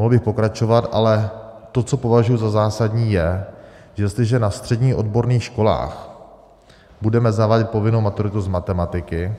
Mohl bych pokračovat, ale to, co považuji za zásadní, je, že jestliže na středních odborných školách budeme zavádět povinnou maturitu z matematiky